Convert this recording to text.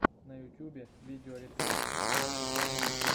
на ютьюбе видеорецепт соу ямми